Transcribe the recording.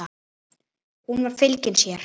Hún var fylgin sér.